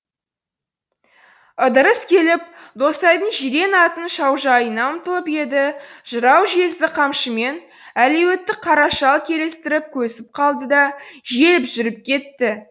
ыдырыс келіп досайдың жирен атының шаужайына ұмтылып еді жырау жезді қамшымен әлуетті қара шал келістіріп көсіп қалды да желіп жүріп кетті